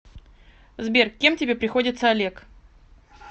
сбер кем тебе приходится олег